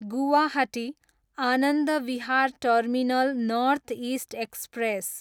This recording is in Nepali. Guwahati, Anand Vihar terminal north east express